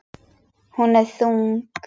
Hún er þung.